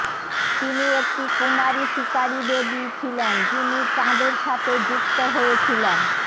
তিনি একটি কুমারী শিকারী দেবী ছিলেন যিনি চাঁদের সাথে যুক্ত হয়েছিলেন